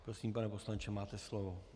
Prosím, pane poslanče, máte slovo.